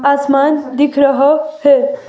आसमान दिख रहा है.